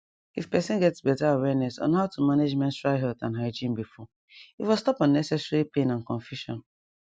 if person get better awareness on how to manage menstrual health and hygiene before e for stop unnecessary pain and confusion